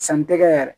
Sanni tɛ kɛ yɛrɛ